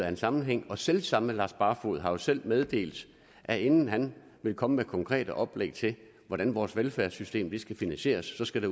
af en sammenhæng og selv samme herre lars barfoed har jo selv meddelt at inden han vil komme med konkrete oplæg til hvordan vores velfærdssystem skal finansieres så skal